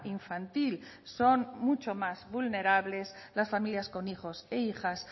infantil son mucho más vulnerables las familias con hijos e hijas